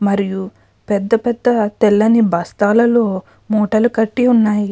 మరియు పెద్ద పెద్ద తెల్లిని బస్తాలలో మూటలు కట్టి ఉన్నాయి.